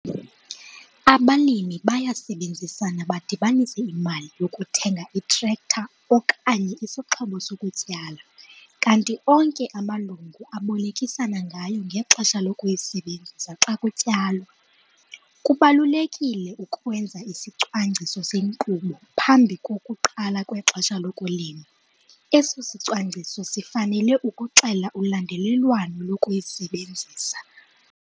Abalimi bayasebenzisana badibanise imali yokuthenga itrektara okanye isixhobo sokutyala kanti onke amalungu abolekisana ngayo ngexesha lokuyisebenzisa xa kutyalwa. Kubalulekile ukwenza isicwangciso senkqubo phambi kokuqala kwexesha lokulima. Eso sicwangciso sifanele ukuxela ulandelelwano lokuyisebenzisa.